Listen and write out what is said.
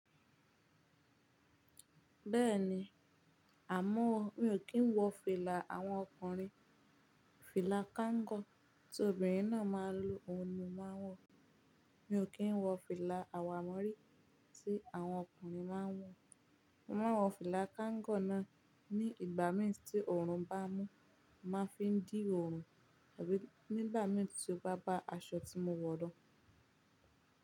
Bẹ́ẹ̀ni, àmọ́ mi ò kí ń wọ fìlà àwọn ọkùnrin, fìlà káńgọ̀ tí obìnrin náà máa ń lo òhun máa wọ̀. Mi ò kí ń wọ fìlà àwámórí tí àwọn ọkùnrin máa ń wọ̀. Mo máa wọ fìlà káńgọ̀ náà ní ìgbà míràn tí òòrùn bá mú, màá fi ń dín òòrùn, tàbí nígbà míràn tí ó bá bá aṣọ tí mo wọ̀ lo.